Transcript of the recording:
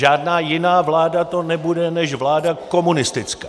Žádná jiná vláda to nebude než vláda komunistická.